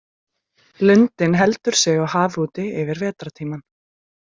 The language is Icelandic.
Lundinn heldur sig á hafi úti yfir vetrartímann.